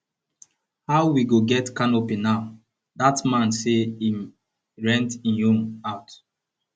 how we go get canopy now dat man say he rent im own out um